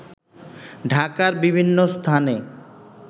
ঢাকার বিভিন্ন স্থানে